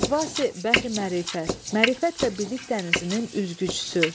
Qəvvas-i bəhr-i mərifət, mərifət və bilik dənizinin üzgüçüsü.